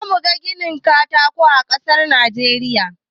Zamu ga gidajen katako a kasar Najeriya